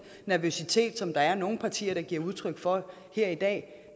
nervøsitet der er nogle partier der giver udtryk for her i dag